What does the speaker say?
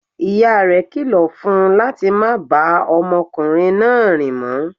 Ìyá rẹ̀ kilọ̀ fun láti má bá ọmọkùnrin náà rìn mọ.